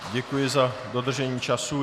Děkuji za dodržení času.